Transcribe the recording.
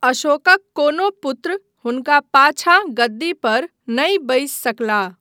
अशोकक कोनो पुत्र हुनका पाछाँ गद्दीपर नहि बसि सकलाह।